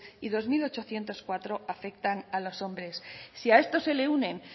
y dos mil ochocientos cuatro afectan a los hombres si a esto se le unen